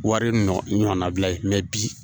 Wari ɲɔɔnnabila bi